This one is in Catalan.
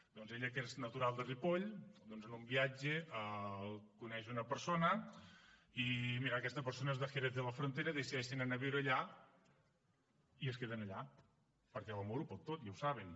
doncs ella que és natural de ripoll en un viatge coneix una persona i mira aquesta persona és de jerez de la frontera i decideixen anar a viure allà i es queden allà perquè l’amor ho pot tot ja ho saben